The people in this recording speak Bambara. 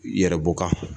Yɛrɛbɔ kan